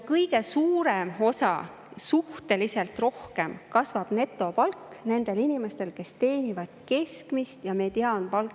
Kõige enam, suhteliselt rohkem kasvab netopalk nendel inimestel, kes teenivad keskmist ja mediaanpalka.